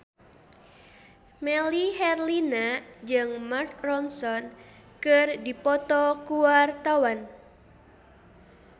Melly Herlina jeung Mark Ronson keur dipoto ku wartawan